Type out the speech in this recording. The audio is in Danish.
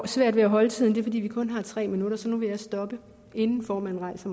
svært ved at holde tiden det er fordi vi kun har tre minutter så nu vil jeg stoppe inden formanden rejser